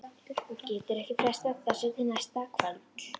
Hún getur ekki frestað þessu til næsta kvölds.